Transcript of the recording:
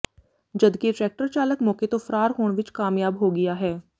ਜਦਕਿ ਟਰੈਕਟਰ ਚਾਲਕ ਮੌਕੇ ਤੋਂ ਫਰਾਰ ਹੋਣ ਵਿਚ ਕਾਮਯਾਬ ਹੋ ਗਿਆ ਹੈ